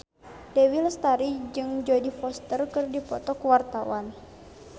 Dewi Lestari jeung Jodie Foster keur dipoto ku wartawan